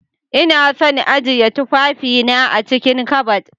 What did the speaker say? lna son ajiyan tufafi na a'cikin ƙabad.